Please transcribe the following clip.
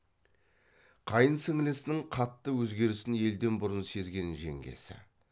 қайын сіңлісінің қатты өзгерісін елден бұрын сезген жеңгесі